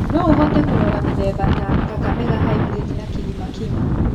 No ũhote kũrora mĩthemba ta "Kakamega Hybrid" na "Kilima Kima"